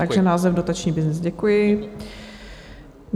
Takže název Dotační byznys, děkuji.